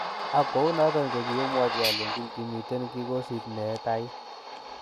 Ago kounoton kokiomwochi alenjin kimiten kikosit nee taii.